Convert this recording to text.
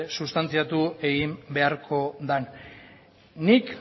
sustantziatsu egin beharko den nik